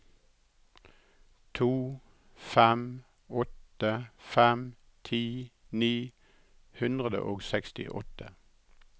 to fem åtte fem ti ni hundre og sekstiåtte